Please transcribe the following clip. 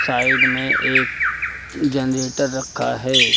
Side में एक generator रखा है।